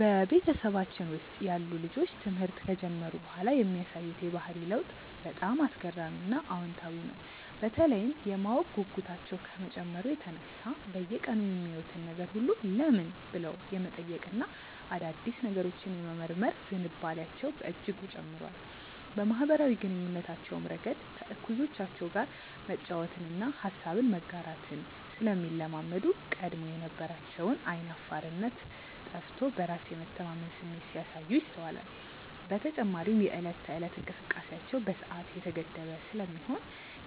በቤተሰባችን ውስጥ ያሉ ልጆች ትምህርት ከጀመሩ በኋላ የሚያሳዩት የባህሪ ለውጥ በጣም አስገራሚና አዎንታዊ ነው፤ በተለይም የማወቅ ጉጉታቸው ከመጨመሩ የተነሳ በየቀኑ የሚያዩትን ነገር ሁሉ "ለምን?" ብለው የመጠየቅና አዳዲስ ነገሮችን የመመርመር ዝንባሌያቸው በእጅጉ ጨምሯል። በማኅበራዊ ግንኙነታቸውም ረገድ ከእኩዮቻቸው ጋር መጫወትንና ሐሳብን መጋራትን ስለሚለማመዱ፣ ቀድሞ የነበራቸው ዓይን አፋርነት ጠፍቶ በራስ የመተማመን ስሜት ሲያሳዩ ይስተዋላል። በተጨማሪም የዕለት ተዕለት እንቅስቃሴያቸው በሰዓት የተገደበ ስለሚሆን፣